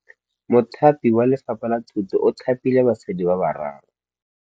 Mothapi wa Lefapha la Thutô o thapile basadi ba ba raro.